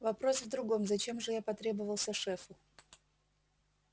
вопрос в другом зачем же я потребовался шефу